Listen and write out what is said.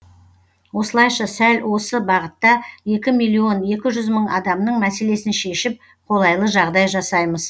осылайша сәл осы бағытта екі миллион екі жүз мың адамның мәселесін шешіп қолайлы жағдай жасаймыз